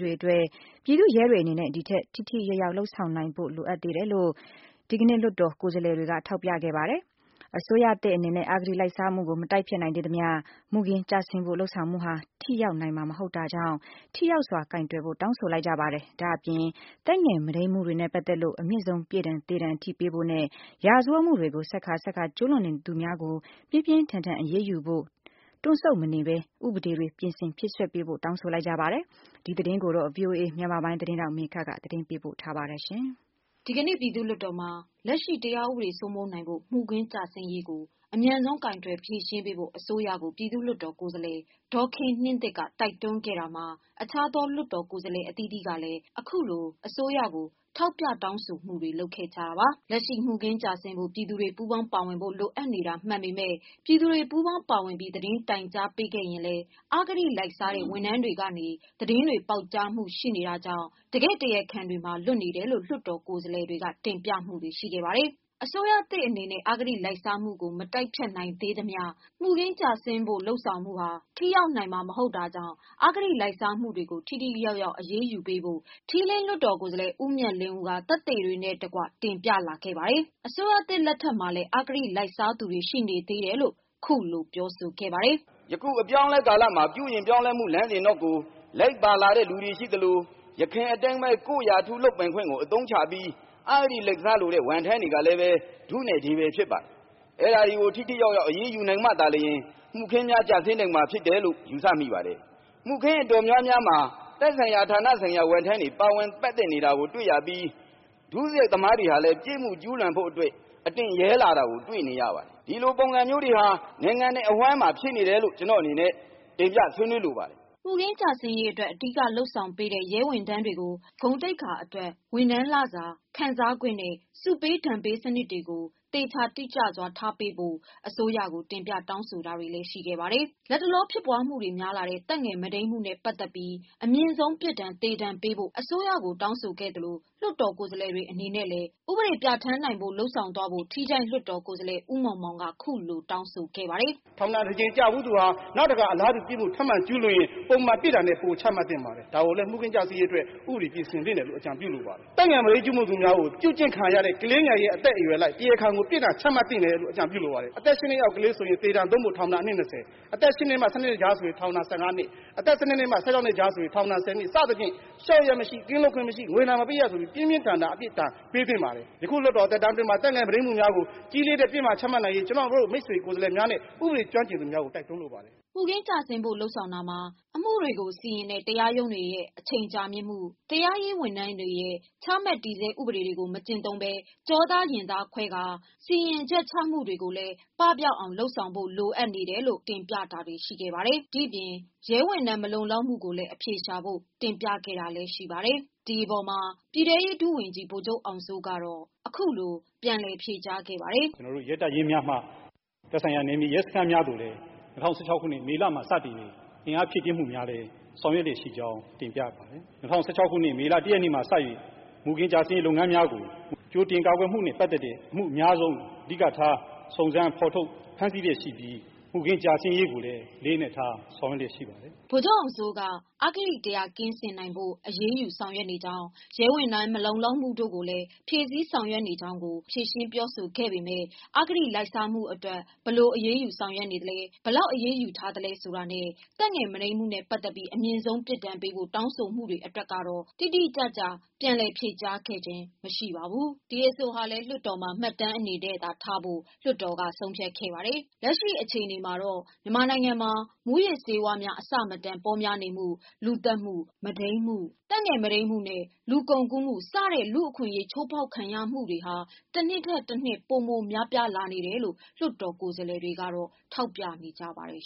တွေအတွက် ပြည်သူ့ရဲတွေအနေနဲ့ ဒီထက်ပိုထိထိရောက်ရောက် လုပ်ဆောင်နိုင်ဖို့လို အပ်နေသေး တယ်လို့ ဒီကနေ့ လွှတ်တော် ကိုယ်စားလှယ်တွေကထောက်ပြခဲ့ပါတယ်။ အစိုးရသစ်အနေနဲ့ အဂတိလိုက်စားမှုကိုမတိုက်ဖျက်နိုင်သေးသမျှ မူခင်းကျဆင်းဖို့လုပ်ဆောင်မှုဟာ ထိရောက် နိုင်မှာ မဟုတ်တာကြောင့် ထိရောက်စွာကိုင်တွယ်ဖို့ တောင်းဆို လိုက်ပါတယ်။ ဒီပြင် သက်ငယ်မုဒိန်းမှုတွေနဲ့ ပတ်သတ်လို့ အမြင့်ဆုံးပြစ်ဒဏ်သေဒဏ်ထိပေးဖို့နဲ့ ရာဇဝတ်မှုတွေကို ဆက်ခါဆက်ခါကျူးလွန်နေသူများကို ပြင်းပြင်းထန်ထန်အရေးယူနိုင်ဖို့ တွန့်ဆုတ်မနေဘဲ ဥပဒေတွေပြင်ဆင်ဖြည့်စွက်ပေးဖို့တောင်းဆိုခဲ့ပါတယ်။ ဒီသတင်းတွေကို ဗွီအိုအေ မြန်မာပိုင်းကမေခက ပေးပို့တင်ပြထားပါတယ်။ ဒီကနေ့ပြည်သူ့လွှတ်တော်မှာ လက်ရှိ တရားဥပဒေ စိုးမိုးနိုင်ဖို့ မှုခင်းကျဆင်းရေးကို အမြန်ဆုံးကိုင်တွယ်ဖြေရှင်းပေးဖို့ အစိုးရ ကို ပြည်သူ့လွှတ် တော်ကိုယ်စားလှယ် ဒေါ်ခင်နှင်းသစ် က တိုက်တွန်းခဲ့တာမှာ အခြားသောလွှတ်တော်ကိုယ်စားလှယ်အသီးသီးက ခုလို အစိုးရကို ထောက်ပြတောင်းဆိုမှုတွေလုပ်ခဲ့ကြ တာပါ။ လက်ရှိ မှုခင်းကျဆင်းဖို့ ပြည်သူတွေပူးပေါင်းပါဝင်ဖို့ လိုအပ်နေတာမှန်ပေမယ့် ပြည်သူတွေပူးပေါင်းပါဝင်ပြီး သတင်းတိုင်ကြားပေးရင်လည်း အဂတိလိုက်စားတဲ့ဝန်ထမ်း တွေကနေ သတင်းတွေပေါက်ကြားမှုတွေရှိနေတာကြောင့် တကယ့်တရားခံတွေမှာလွတ်နေတယ်လို့ လွှတ်တော်ကိုယ်စားလှယ်တွေက တင်ပြမှုတွေရှိ ခဲ့ပါတယ်။ အစိုးရသစ်အနေနဲ့ အဂတိလိုက်စားမှုကို မတိုက်ဖျက်နိုင်သေးသမျှ မူခင်းကျဆင်းဖို့လုပ်ဆောင်မှုဟာ ထိရောက် နိုင်မှာ မဟုတ်တာကြောင့် အဂတိလိုက်စားမှုတွေကို ထိထိ ရောက်ရောက် အရေးယူဖို့ ထီးလင်းလွှတ်တော်ကိုယ်စားလှယ်ဦးမြတ်လေးဦးကသက်သေတွေနဲ့တကွတင်ပြခဲ့ပါတယ်။ အစိုးရသစ်လက်ထက်မှာ လည်းအဂတိလိုက်စားသူ တွေရှိနေသေးတယ်လို့ ခုလိုပြောဆိုခဲ့ပါတယ်။ “ယခုအပြောင်းအလဲကာလမှာ ပြုပြင်ပြောင်းလဲမှုလမ်းစဉ်နောက်ကို လိုက်ပါလာတဲ့လူတွေရှိသလို ယခင်အတိုင်းပဲ ကိုယ့်ရာထူးလုပ်ပိုင်ခွင့်ကို အသုံးချပြီး အဂတိလိုက်စားလိုတဲ့ ဝန်ထမ်းတွေကလည်း ဒုနဲ့ဒေးပဲ ဖြစ်ပါတယ်။ အဲဒါတွေကို ထိထိရောက်ရောက် အရေးယူမှသာလျှင် မှုခင်းများ ကျဆင်းနိုင်မှာဖြစ်တယ်လို့ ယူဆမိပါတယ်။ မှုခင်းအတော်များများမှာ သက်ဆိုင်ရာ ဌာနဆိုင်ရာဝန်ထမ်းတွေ ပါဝင်ပတ်သက်နေတာကိုတွေ့ရပြီး ဒုစရိုက်သမားတွေကလည်း အပြစ်ကျူးလွန်ဖို့အတွက် အတင့်ရဲလာတာကိုတွေ့နေရပါတယ်။ ဒီလိုပုံစံမျိုးတွေဟာ နိုင်ငံနဲ့အဝှမ်းမှာဖြစ်နေတယ်လို့ ကျနော့်အနေနဲ့ ဆွေးနွေးတင်ပြလိုပါတယ်။” မှုခင်းကျဆင်းရေးအတွက် အဓိကလုပ်ဆောင်ပေးတဲ့ ရဲဝန်ထမ်းတွေကို ဂုဏ်သိက္ခာ အတွက်ဝန်ထမ်းလစာခံစားခွင့် နဲ့ ဆုပေးဒဏ် ပေးစနစ်တွေကိုသေချာ တိကျစွားထားပေးဖို့ အစိုးရကိုတင်ပြတောင်းဆိုမှုတွေလည်းရှိပါတယ်။ လက်တလောဖြစ်ပွားမှုတွေများလာတဲ့ သက်ငယ်မုဒိန်းမှုနဲ့ပတ်သတ်ပြီး အမြင့်ဆုံး ပြစ်ဒဏ် သေဒဏ်ပေးဖို့အစိုးရကို တောင်းဆိုခဲ့သလို လွှတ်တော် ကိုယ်စားလှယ်တွေအနေနဲ့လည်း ဥပဒေပြဌာန်းနိုင်ဖို့ လုပ်သွားဖို့ ထီးချိုင့်လွှတ်တော်ကိုယ်စားလှယ် ဦးမောင် မောင်က ခုလိုတောင်းဆိုခဲ့ပါတယ်။ “ထောင်ဒဏ်တကြိမ်ကျဖူးသူဟာ နောက်တကြိမ်ထောင်ဒဏ်ကျူးလွန်ရင် ပုံမှန်ပြစ်ဒဏ်ထက်ပိုချသင့်ပါတယ်။ ဒါကိုလည်း မူခင်းကျဆင်းရေးအတွက် ဥပဒေပြင်ဆင်သင့်တယ်လို့ အကြံပြုလိုပါတယ်။ သက်ငယ်မုဒိမ်းမှုကျူးလွန်သူများကို ပြုကျင့်ခံရတဲ့ ကလေးငယ်ရဲ့အသက်အရွက်အလိုက် တရားခံကို ပြစ်ဒဏ်ချမှတ်သင့်တယ်လို့ အကြံပြုလိုပါတယ်။ ဥပမာ- အသက် ၈ နှစ်အောက်ကလေး ဆိုရင် သေဒဏ် ထောင်ဒဏ် အနှစ် ၂၀ ၊ အသက် ၈-၁၂ နှစ်ကြားဆိုရင် ထောင်ဒဏ် ၁၅ နှစ် ၊ အသက် ၁၂-၁၆ နှစ်ကြားဆိုရင် ထောင်ဒဏ် ၁၀ နှစ် စသဖြင့် ၊ လျှော့ရန်မရှိ ကင်းလွတ်ခွင့်မရှိ ၊ ငွေဒဏ်မပေးရဆိုပြီး ပြင်းပြင်းထန်ထန် ပြစ်ဒဏ်ပေးသင့်ပါတယ်။ အခုလွှတ်တော် သက်တမ်းအတွင်းမှာ သက်ငယ် မုဒိမ်းမှုများကို ကြီးလေးတဲ့ ပြစ်ဒဏ်ချမှတ်နိုင်ရေး ကျနော်တို့ မိတ်ဆွေကိုယ်စားလှယ်များနှင့် ဥပဒေကျွမ်းကျင်သူများကို တိုက်တွန်းလိုပါတယ်။” မူခင်းကျဆင်းဖို့လုပ်တာမှာ အမှုတွေကိုစီရင်တဲ့တရားရုံးတွေရဲ့အချိန်ကြာမြင့်မှု၊ တရားရေးဝန်ထမ်းတွေရဲ့ချမှတ်တည် ဆဲဥပဒေ တွေကို မကျင့်သုံးဘဲကျောသားရင် သားခွဲကာ စီရင်မှုတွေကိုလည်း ပပျောက်အောင်လုပ်ဖို့လိုတယ်လို့တင်ပြမှုတွေရှိခဲ့ပါတယ်။ ဒီအပြင် ရဲဝန်ထမ်းမလုံလောက်မှုကိုလည်းအဖြေရှာ ဖို့တင်ပြခဲ့တာလည်းရှိပါတယ်။ ဒီအပေါ်မှာ ပြည်တဲ့ရေးဒုဝန်ကြီး ဗိုလ်ချုပ်အောင်စိုးကတော့ အခုလိုဖြေကြားခဲ့ပါတယ်။ “ကျနော်တို့ရဲတပ်ရင်းများမှာ သက်ဆိုင်ရာ နယ်မြေရဲစခန်းများသို့လည်း ၂၀၁၆ ခုနှစ် မေလမှ စတင်၍ အင်အားဖြည့်တင်းမူများလည်း ဆောင်ရွက်လျက်ရှိကြောင်း တင်ပြအပ်ပါတယ်။ ၂၀၁၆ ခုနှစ် မေလ ၁ ရက်နေ့မှ စ၍ မှုခင်းကျဆင်းရေး လုပ်ငန်းများကို ကြိုတင်ကာကွယ်မှုနဲ့ ပတ်သက်တဲ့ အမှုအများဆုံးအဓိကထား စုံစမ်းဖော်ထုတ်ဖမ်းဆီးလျှက်ရှိပြီး မှုခင်းကျဆင်းရေးကိုလည်း အလေးအနက်ထား ဆောက်ရွက်လျက် ရှိပါတယ်။” ဗိုလ်ချုပ်အောင်စိုးက အဂတိတရားကင်းဖို့အရေးယူနေကြောင်း၊ ရဲဝန်ထမ်းမလုံလောက်မှုတို့ကို လည်း ဖြည့်စည်းနေကြောင်းကိုသာပြောဆိုခဲ့ပေမယ့် အဂတိလိုက်စားမှုအတွက် ဘယ်လိုအရေးယူနေသလဲ ဘယ်လောက်အရေးယူထားသလဲ ဆိုတာနဲ့ သက်ငယ်မုဒိန်းမှုနဲ့ပတ်သတ်ပြီး အမြင့်ဆုံး ပြစ်ဒဏ်ပေးဖို့ တောင်းဆို မှု တွေအတွက်တော့တိတိကျကျပြောဆိုခဲ့တာ မရှိပါဘူး။ ဒီအဆိုဟာလည်း လွှတ်တော် မှာမှတ်တမ်းအနေနဲ့သာထားဖို့လွှတ်တော်ကဆုံးဖြတ်ခဲ့ပါတယ်။ လက်ရှိချိန်မှာတော့ မြန်မာနိုင်ငံမှာ မူးယစ်ဆေးဝါးများ အဆမတန် ပေါများနေမှု ၊လူသတ်မှု၊ မုဒိမ်းမှု၊ သက်ငယ် မုဒိမ်းမှုနဲ့ လူကုန်ကူးမှု စတဲ့ လူ့အခွင့်အရေး ချိုးဖောက်ခံနေရမှုများဟာ တစ်နှစ်ထက်တစ်နှစ် ပိုမို များပြားလာနေတယ်လို့ လွှတ်တော်ကိုယ်စားလှယ်တွေကတော့ထောက်ပြနေကြပါတယ်